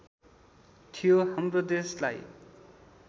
थियो हाम्रो देशलाई